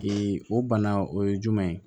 o bana o ye jumɛn ye